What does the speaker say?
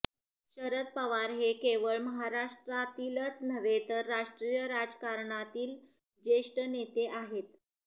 शरद पवार हे केवळ महाराष्ट्रातीलच नव्हे तर राष्ट्रीय राजकारणातील ज्येष्ठ नेते आहेत